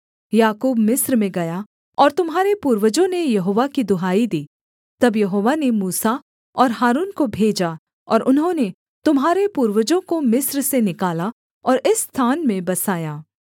याकूब मिस्र में गया और तुम्हारे पूर्वजों ने यहोवा की दुहाई दी तब यहोवा ने मूसा और हारून को भेजा और उन्होंने तुम्हारे पूर्वजों को मिस्र से निकाला और इस स्थान में बसाया